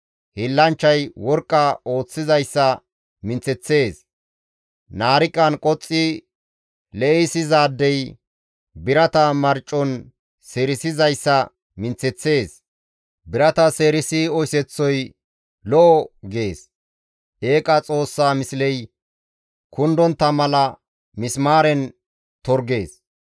Hiillanchchay worqqa ooththizayssa minththeththees; naariqan qoxxi le7issizaadey birata marcon seerisizayssa minththeththees; birata seerisi oyseththoy, «Lo7o» gees; eeqa xoossaa misley kundontta mala misimaaren torggees.